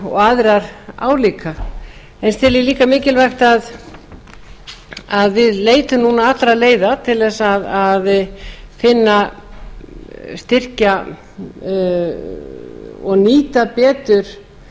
og aðrar álíka en ég tel líka mikilvægt að við leitum allra leiða til að styrkja og nýta betur